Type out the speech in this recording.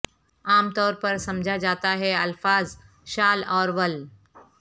عام طور پر سمجھا جاتا ہے الفاظ شال اور ول